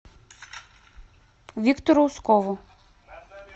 виктору ускову